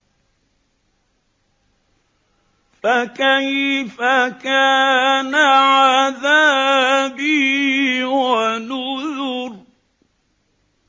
فَكَيْفَ كَانَ عَذَابِي وَنُذُرِ